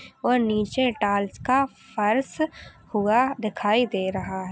और नीचे टाइल्स का फर्श हुआ दिखाई दे--